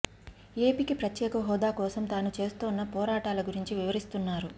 ఏపీకి ప్రత్యేక హోదా కోసం తాను చేస్తున్న పోరాటాల గురించి వివరిస్తున్నారు